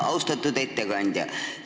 Austatud ettekandja!